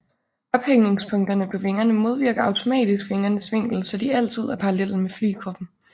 Ophængningspunkterne på vingerne modvirker automatisk vingernes vinkel så de altid er parallelle med flykroppen